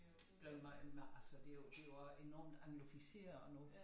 Blevet meget altså det jo det jo også enormt anglificeret nu